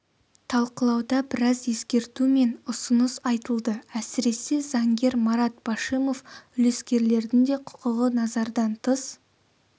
талқылауда біраз ескерту мен ұсыныс айтылды әсіресе заңгер марат башимов үлескерлердің де құқығы назардан тыс